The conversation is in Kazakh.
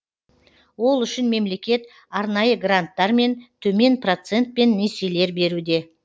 ол үшін мемлекет арнайы гранттар мен төмен процентпен несиелер беруде